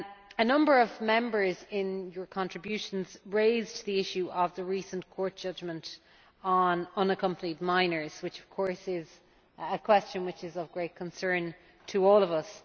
A number of Members, in their contributions, raised the issue of the recent Court judgment on unaccompanied minors, which of course is a question which is of great concern to all of us.